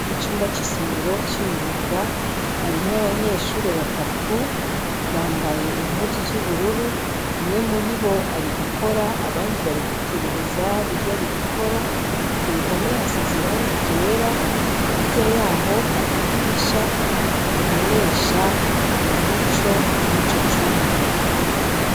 Icumba cisomero cimyuga harimwo abanyeshure batatu bambaye impuzu zubururu umwe muribo ari gukora abandi bari kwitegereza ivyari gukora kuruhome hasize irangi ryera hepfo yaho haridirisha ribobesha umuco muriryo cumba